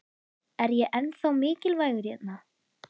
Er ég ennþá mikilvægur hérna?